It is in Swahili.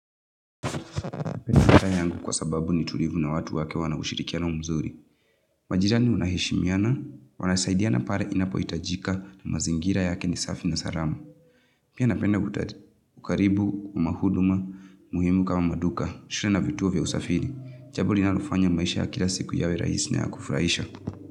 Matae yangu kwa sababu ni tulivu na watu wake wana ushirikia na umzuri. Majirani unahishimiana, wanasaidiana pare inapo itajika na mazingira yake ni safi na sarama. Pia napenda kutati. Ukaribu, mauduma, muhimu kama maduka, shire na vituo vya usafiri. Chabuli nalofanya maisha ya kila siku yawe raisine ya kufraisha.